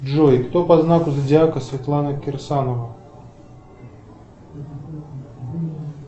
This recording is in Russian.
джой кто по знаку зодиака светлана кирсанова